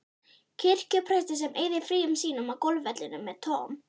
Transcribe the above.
kirkjupresti sem eyðir fríum sínum á golfvellinum með Tom